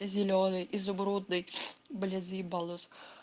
зелёный изумрудный блин заебал нос